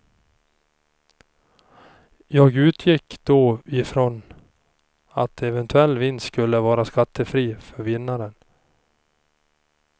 Jag utgick då ifrån att eventuell vinst skulle vara skattefri för vinnaren.